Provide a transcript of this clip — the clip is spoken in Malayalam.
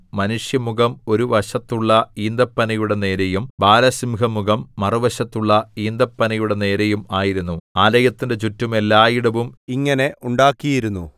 മനുഷ്യമുഖം ഒരു വശത്തുള്ള ഈന്തപ്പനയുടെ നേരെയും ബാലസിംഹമുഖം മറുവശത്തുള്ള ഈന്തപ്പനയുടെ നേരെയും ആയിരുന്നു ആലയത്തിന്റെ ചുറ്റും എല്ലായിടവും ഇങ്ങനെ ഉണ്ടാക്കിയിരുന്നു